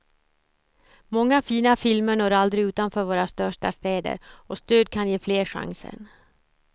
Många fina filmer når aldrig utanför våra största städer och stöd kan ge fler chansen.